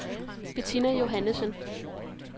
Bettina Johannessen